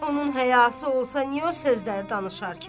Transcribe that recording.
Onun həyası olsa, niyə o sözləri danışar ki?